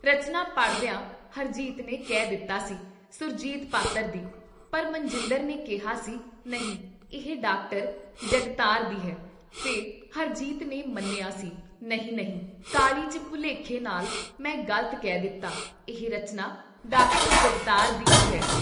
ਰਚਨਾ ਪੜ੍ਹਦਿਆਂ ਹਰਜੀਤ ਨੇ ਕਹਿ ਦਿੱਤਾ ਸੀ - ਸੁਰਜੀਤ ਪਾਤਿਰ ਦੀ, ਪਰ ਮਨਜਿੰਦਰ ਨੇ ਕਿਹਾ ਸੀ ਨਹੀਂ ਇਹ ਡਾ. ਜਗਤਾਰ ਦੀ ਹੈ ਫਿਰ ਹਰਜੀਤ ਨੇ ਮੰਨਿਆਂ ਸੀ ਨਹੀਂ ! ਨਹੀਂ "ਕਾਹਲੀ 'ਚ ਭੁਲੇਖੇ, ਨਾਲ ਮੈਂ ਗਲਤ ਕਹਿ ਦਿੱਤਾ ਇਹ ਰਚਨਾ ਡਾ. ਜਗਤਾਰ ਦੀ ਈ ਹੈ।